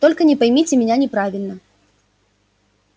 только не поймите меня неправильно